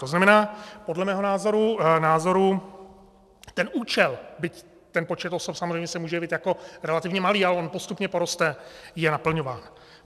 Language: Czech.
To znamená podle mého názoru, ten účel, byť ten počet osob samozřejmě se může jevit jako relativně malý, ale on postupně poroste, je naplňován.